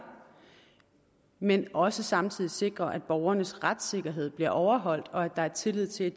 men også samtidig sikrer at borgernes retssikkerhed bliver overholdt og at der er tillid til